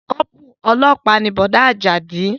Kọ́pùrù ọlọ́pàá ni Bọ̀dá Àjàdí